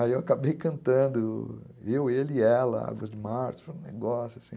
Aí eu acabei cantando, eu, ele e ela, Águas de Março, foi um negócio assim.